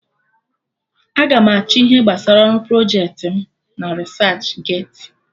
Aga m achọ ihe gbasara ọrụ projecti m na Risach geeti